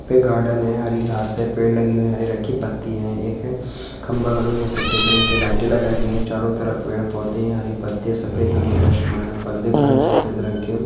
पे गार्डन है हरी घास से पेड़ लगी बिहारी राखी पट्टी है एक खंभा करो जो सफेद रंग के लाइट लगाई गई है चारों तरफ पेड़ पौधे हरे पत्ते सफेद धोनी लक्ष्मण पर्दे खड़े सफेद रंग के--